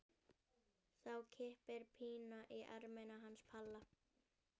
Þá kippir Pína í ermina hans Palla.